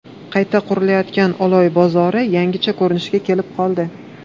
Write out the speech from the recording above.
Qayta qurilayotgan Oloy bozori yangicha ko‘rinishga kelib qoldi .